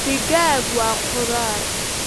Digaag waa khudaar